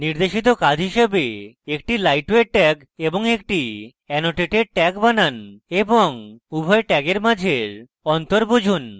নির্দেশিত কাজ হিসাবে